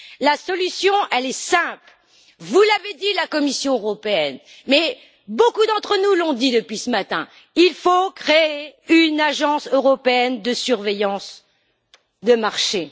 La solution, elle est simple la Commission européenne l'a dit, beaucoup d'entre nous le disent aussi depuis ce matin il faut créer une agence européenne de surveillance des marchés.